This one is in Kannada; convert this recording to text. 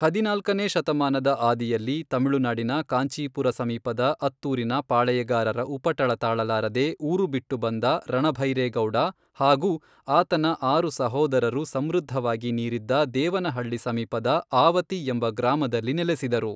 ಹದಿನಾಲ್ಕನೇ ಶತಮಾನದ ಆದಿಯಲ್ಲಿ, ತಮಿಳುನಾಡಿನ ಕಾಂಚೀಪುರ ಸಮೀಪದ ಅತ್ತೂರಿನ ಪಾಳೆಯಗಾರರ ಉಪಟಳ ತಾಳಲಾರದೆ ಊರು ಬಿಟ್ಟು ಬಂದ ರಣಭೈರೇಗೌಡ ಹಾಗೂ ಆತನ ಆರು ಸಹೋದರರು ಸಮೃದ್ಧವಾಗಿ ನೀರಿದ್ದ ದೇವನಹಳ್ಳಿ ಸಮೀಪದ ಆವತಿ ಎಂಬ ಗ್ರಾಮದಲ್ಲಿ ನೆಲೆಸಿದರು.